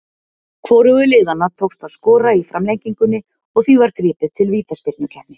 Hvorugu liðanna tókst að skora í framlengingunni og því var gripið til vítaspyrnukeppni.